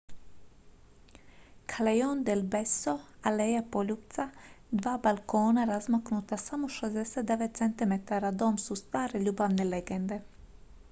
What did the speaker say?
callejon del beso aleja poljupca. dva balkona razmaknuta samo 69 centimetara dom su stare ljubavne legende